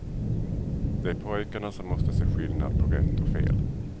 Det är pojkarna som måste se skillnad på rätt och fel.